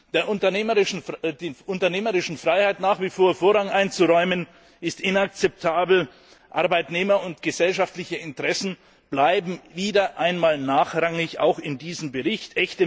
Der unternehmerischen Freiheit nach wie vor Vorrang einzuräumen, ist inakzeptabel, Arbeitnehmerinteressen und gesellschaftliche Interessen bleiben wieder einmal nachrangig auch in diesem Bericht.